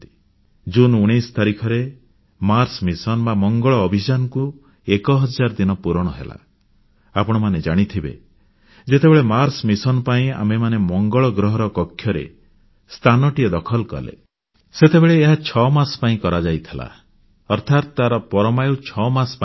June 19 ତାରିଖରେ ମଙ୍ଗଳ ଅଭିଯାନ ମାର୍ସ ମିଶନ ପାଇଁ ଆମେମାନେ ମଙ୍ଗଳ ଗ୍ରହର କକ୍ଷରେ ସ୍ଥାନଟିଏ ଦଖଲ କଲେ ସେତେବେଳେ ଏହା ଛଅମାସ ପାଇଁ କରାଯାଇଥିଲା ଅର୍ଥାତ୍ ତାର ପରମାୟୁ 6 ମାସ ପାଇଁ ଥିଲା